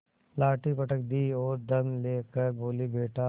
लाठी पटक दी और दम ले कर बोलीबेटा